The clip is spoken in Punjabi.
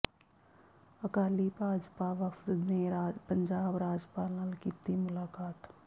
ਅਕਾਲੀ ਭਾਜਪਾ ਵਫਦ ਨੇ ਪੰਜਾਬ ਰਾਜਪਾਲ ਨਾਲ ਕੀਤੀ ਮੁਲਾਕਾਤ